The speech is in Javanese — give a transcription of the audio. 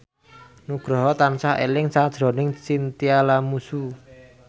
Nugroho tansah eling sakjroning Chintya Lamusu